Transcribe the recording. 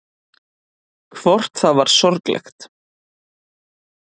Hvort það var sorglegt.